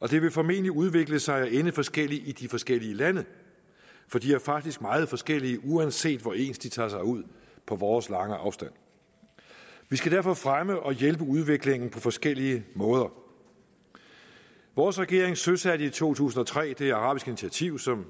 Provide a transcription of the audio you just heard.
og det vil formentlig udvikle sig og ende forskelligt i de forskellige lande for de er faktisk meget forskellige uanset hvor ens de tager sig ud på vores lange afstand vi skal derfor fremme og hjælpe udviklingen på forskellige måder vores regering søsatte i to tusind og tre det arabiske initiativ som